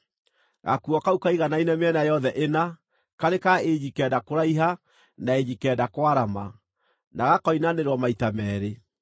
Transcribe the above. Gakuo kau kaiganaine mĩena yothe ĩna, karĩ ka inji kenda kũraiha na inji kenda kwarama, na gakoinanĩrwo maita meerĩ.